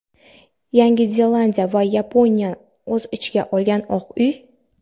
Yangi Zelandiya va Yaponiyani o‘z ichiga olgan – Oq uy.